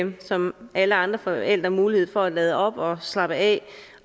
som alle andre forældre mulighed for at lade op slappe af